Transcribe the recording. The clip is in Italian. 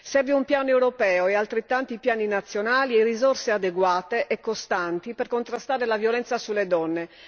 Servono un piano europeo e altrettanti piani nazionali, nonché risorse adeguate e costanti per contrastare la violenza sulle donne.